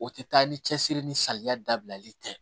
O tɛ taa ni cɛsiri ni saliya dabilali tɛ